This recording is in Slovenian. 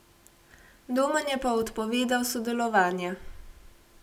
Domen je pa odpovedal sodelovanje.